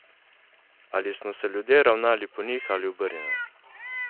Ali smo se ljudje ravnali po njih ali obrnjeno?